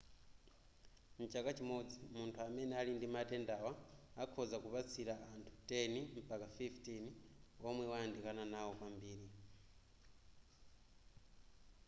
mchaka chimodzi munthu amene ali ndi matendawa akhoza kupatsila anthu 10 mpaka 15 womwe wayandikana nawo kwambiri